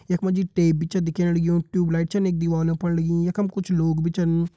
यख मा जी टेप भी च दिखेणु लग्युं ट्यूबलाइट छन दीवालों पर लगीं यख मा कुछ लोग भी छिन।